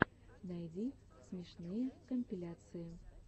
найди смешные компиляции